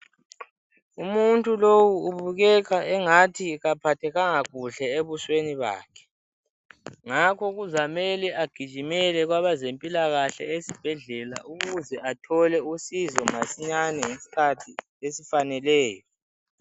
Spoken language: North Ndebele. Umuntu lowu ubukeka engathi kaphathekanga kuhle ebusweni bakhe ngakho kuzamele agijimele kwabazempilakahle esibhedlela ukuze athole usizo masinyane ngesikhathi esifaneleyo.